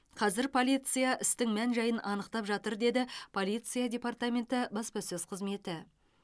қазір полиция істің мән жайын анықтап жатыр деді полиция департаментің баспасөз қызметі